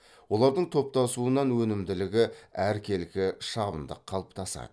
олардың топтасуынан өнімділігі әркелкі шабындық қалыптасады